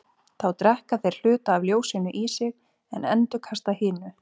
Þá drekka þeir hluta af ljósinu í sig en endurkasta hinu.